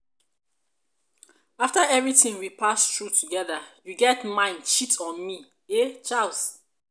after everything we pass through together you get mind cheat on me eh charles.